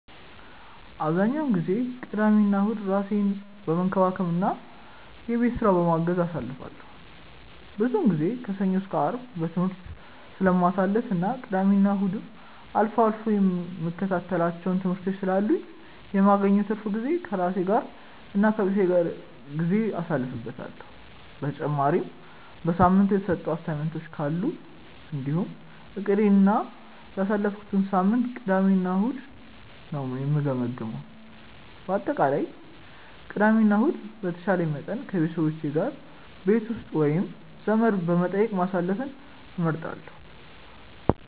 አብዛኛውን ጊዜ ቅዳሜና እሁድን ራሴን በመንከባከብ እና የቤት ስራ በማገዝ አሳልፈዋለሁ። ብዙውን ጊዜ ከሰኞ እስከ አርብ በትምህርት ስለማሳልፍ እና ቅዳሜና እሁድም አልፎ አልፎ የምከታተላቸው ትምህርቶች ስላሉኝ የማገኘውን ትርፍ ጊዜ ከራሴ ጋር እና ከቤተሰቤ ጋር ጊዜ አሳልፍበታለሁ። በተጨማሪም በሳምንቱ የተሰጡ አሳይመንቶች ካሉ እንዲሁም እቅዴን እና ያሳለፍኩትን ሳምንት ቅዳሜ እና እሁድ ነው የምገመግመው። በአጠቃላይ ቅዳሜ እና ከእሁድ በተቻለኝ መጠን ከቤተሰቦቼ ጋር ቤት ውስጥ ወይም ዘመድ በመጠየቅ ማሳለፍን እመርጣለሁ።